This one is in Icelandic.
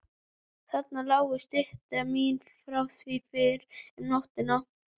Þarna lágu stykki mín frá því fyrr um nóttina.